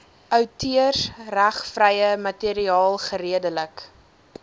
outeursregvrye materiaal geredelik